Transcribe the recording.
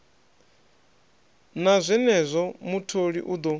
na zwenezwo mutholi u ḓo